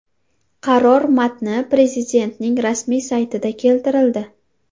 Qaror matni Prezidentning rasmiy saytida keltirildi .